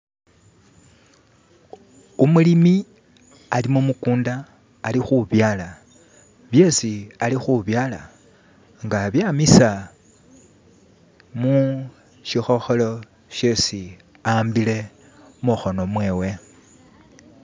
Umulimi ali mu'mukundu ali khubyala, byesi alikhubyala nga abyamisa mushikhokholo shesi a'wambile mukhono mwewe.